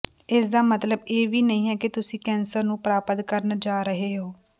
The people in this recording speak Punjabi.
ਇਸਦਾ ਮਤਲਬ ਇਹ ਵੀ ਨਹੀਂ ਹੈ ਕਿ ਤੁਸੀਂ ਕੈਂਸਰ ਨੂੰ ਪ੍ਰਾਪਤ ਕਰਨ ਜਾ ਰਹੇ ਹੋ